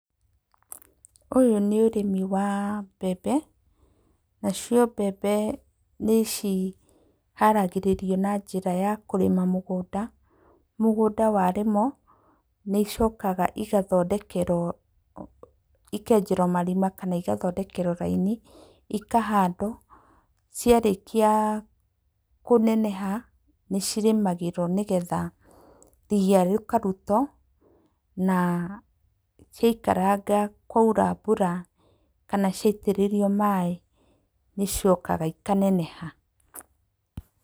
Ũyũ nĩ ũrĩmi wa mbembe nacio mbembe nĩciharagĩrĩrio na njĩra ya kũrĩma mũgũnda, mũgũnda wa rĩmwo nĩicokaga ikenjerwo marima kana igathondekerwo raini ikahandwo, ciarĩkia kũneneha nĩcirĩmagĩrwo nĩgetha riya rĩkarutwo na ciaikaranga kwaura mbura kana ciaitĩrĩrio maaĩ nĩicokaga ikaneneha.